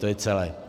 To je celé.